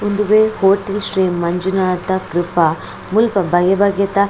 ಉಂದುವೆ ಕೋಟಿಶ್ರೀ ಮಂಜುನಾಥ ಕ್ರಪ ಮುಲ್ಪ ಬಗೆ ಬಗೆತ.